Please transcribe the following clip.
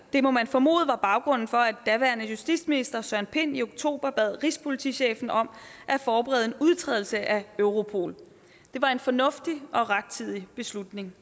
det må man formode var baggrunden for at daværende justitsminister søren pind i oktober bad rigspolitichefen om at forberede en udtrædelse af europol det var en fornuftig og rettidig beslutning